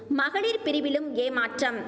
மகளிர் பிரிவிலும் ஏமாற்றம்